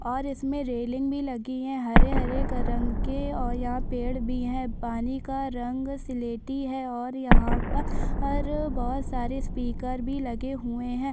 और इसमें रैलिंग भी लगी है हरे-हरे रंग के और यहाँ पेड़ भी है पानी का रंग सिलेटी है और यहाँ पर और बहोत सारे स्पीकर भी लगे हुए है।